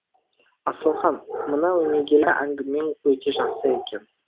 асылхан мына өнегелі әңгімең өте жақсы екен